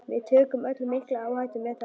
Við tökum öll mikla áhættu með þessu.